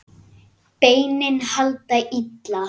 Beinin halda illa.